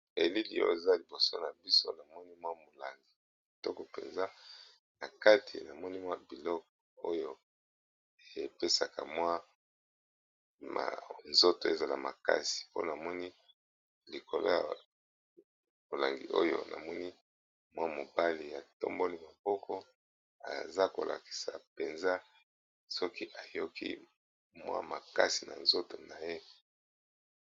Elili eza liboso na biso na moni mwa molangi toko mpenza na kati na moni mwa biloko oyo epesaka mwanzoto ezala makasi mpona moni likolo ya molangi oyo na moni mwa mobali ya tomboli maboko eza kolakisa mpenza soki eyoki mwa makasi na nzoto na ye.